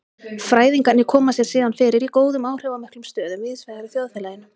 Fræðingarnir koma sér síðan fyrir í góðum áhrifamiklum stöðum víðsvegar í þjóðfélaginu.